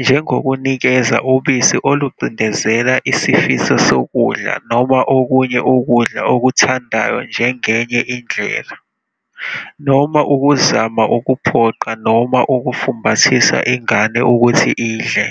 njengokunikeza ubisi olucindezela isifiso sokudla noma okunye ukudla okuthandayo njengenye indlela, noma ukuzama ukuphoqa noma ukufumbathisa ingane ukuthi idle.